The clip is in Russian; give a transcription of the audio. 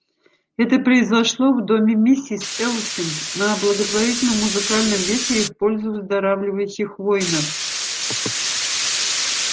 это произошло в доме миссис элсинг на благотворительном музыкальном вечере в пользу выздоравливающих воинов